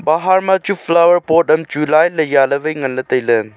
pahar ma chu flower pot am chu line ley jeh ley tai ley.